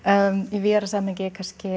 í víðara samhengi